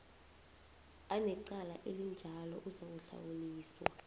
anecala elinjalo uzakuhlawuliswa